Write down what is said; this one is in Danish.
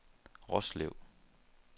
Roslev